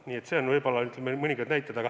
Nii et see on võib-olla üks näide.